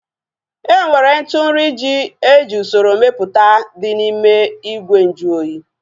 Enwere ntụ nri ji eji usoro mepụta dị n'ime ìgwè nju oyi